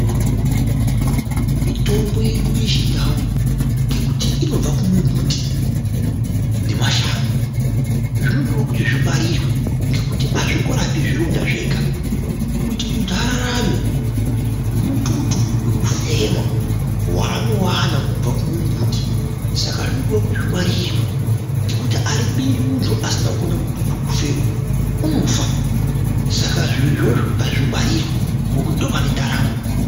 Mitombo yedu yechindau ngekuti inobva kumumbuti nemashango zvinodiwe kuti zvingwarire ngekuti azvingorapi zvironda zvega, kuti muntu ararame mututu wekufema waanowana kubva kumumbuti, saka zvinodiwa kuti zvingwarirwe, ngekuti aribiri muntu asina kuona mututu wekufema, unofa, saka zviro izvozvo ngazvingwarirwe ngekuti ndipo pane ndaramo.